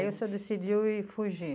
Aí o senhor decidiu ir fugir?